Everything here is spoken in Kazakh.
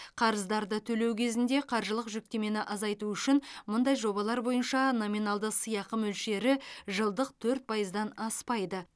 қарыздарды төлеу кезінде қаржылық жүктемені азайту үшін мұндай жобалар бойынша номиналды сыйақы мөлшері жылдық төрт пайыздан аспайды